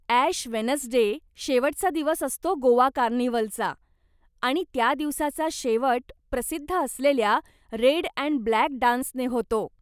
Ash Wednesday शेवटचा दिवस असतो गोवा कार्निव्हलचा, आणि त्या दिवसाचा शेवट प्रसिद्ध असलेल्या रेड अँड ब्लॅक डान्सने होतो.